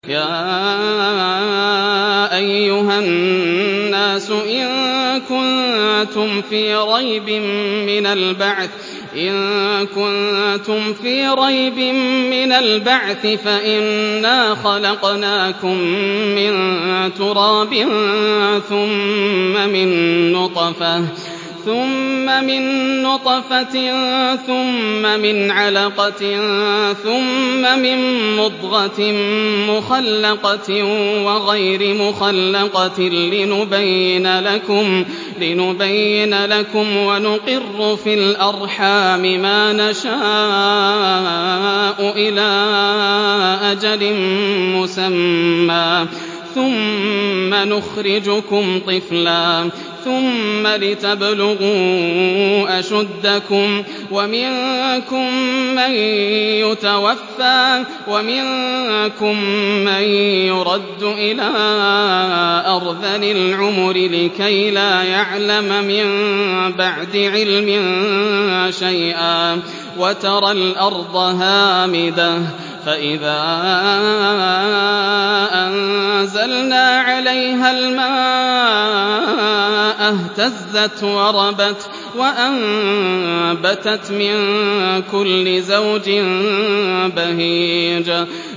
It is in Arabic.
يَا أَيُّهَا النَّاسُ إِن كُنتُمْ فِي رَيْبٍ مِّنَ الْبَعْثِ فَإِنَّا خَلَقْنَاكُم مِّن تُرَابٍ ثُمَّ مِن نُّطْفَةٍ ثُمَّ مِنْ عَلَقَةٍ ثُمَّ مِن مُّضْغَةٍ مُّخَلَّقَةٍ وَغَيْرِ مُخَلَّقَةٍ لِّنُبَيِّنَ لَكُمْ ۚ وَنُقِرُّ فِي الْأَرْحَامِ مَا نَشَاءُ إِلَىٰ أَجَلٍ مُّسَمًّى ثُمَّ نُخْرِجُكُمْ طِفْلًا ثُمَّ لِتَبْلُغُوا أَشُدَّكُمْ ۖ وَمِنكُم مَّن يُتَوَفَّىٰ وَمِنكُم مَّن يُرَدُّ إِلَىٰ أَرْذَلِ الْعُمُرِ لِكَيْلَا يَعْلَمَ مِن بَعْدِ عِلْمٍ شَيْئًا ۚ وَتَرَى الْأَرْضَ هَامِدَةً فَإِذَا أَنزَلْنَا عَلَيْهَا الْمَاءَ اهْتَزَّتْ وَرَبَتْ وَأَنبَتَتْ مِن كُلِّ زَوْجٍ بَهِيجٍ